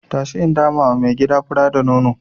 Tashi in damawa mai gida fura da nono.